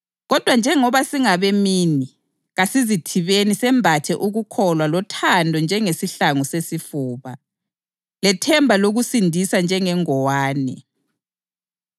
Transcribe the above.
Kodwa njengoba singabemini, kasizithibeni, sembathe ukukholwa lothando njengesihlangu sesifuba, lethemba lokusindiswa njengengowane.